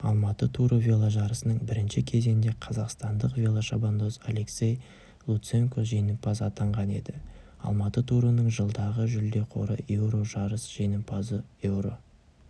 алматы туры веложарысының бірінші кезеңінде қазақстандық велошабандоз алексей луценко жеңімпаз атанған еді алматы турының жылдағы жүлде қоры еуро жарыс жеңімпазы еуро